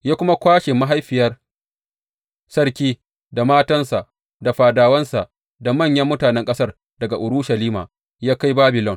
Ya kuma kwashe mahaifiyar sarki, da matansa, da fadawansa, da manyan mutanen ƙasar daga Urushalima ya kai Babilon.